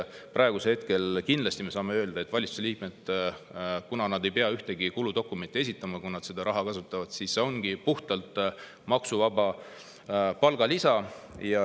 Praegu me saame kindlasti öelda, et kuna valitsuse liikmed ei pea ühtegi kuludokumenti esitama, kui nad kasutavad, siis see ongi puhtalt maksuvaba palgalisa.